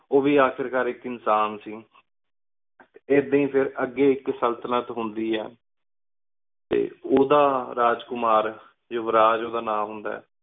ਉਵੀ ਆਖਰ ਕਰ ਏਕ ਇਨਸਾਨ ਸੀ ਏਦਾਂ ਹੀ ਅਗੀ ਫਿਰ ਅਘੀ ਏਕ ਸ੍ਲ੍ਤਾਲਤ ਹੁੰਦੀ ਆਯ ਟੀ ਉੜਾ ਰਾਜ ਕੁਮਾਰ ਜਿਵ੍ਰਾਜ ਉਂਦਾ ਰਾਜ ਹੁੰਦਾ ਆਯ